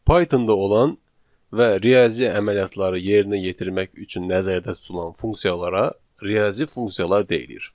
Python-da olan və riyazi əməliyyatları yerinə yetirmək üçün nəzərdə tutulan funksiyalara riyazi funksiyalar deyilir.